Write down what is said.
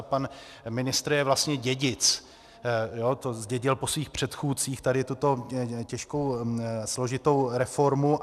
A pan ministr je vlastně dědic, to zdědil po svých předchůdcích, tady tuto těžkou, složitou reformu.